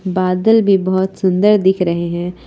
बादल भी बहुत सुंदर दिख रहे हैं।